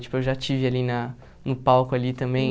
Tipo, eu já estive ali na no palco ali também.